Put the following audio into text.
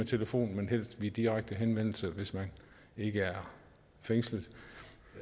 telefonen men helst ved en direkte henvendelse hvis man ikke er fængslet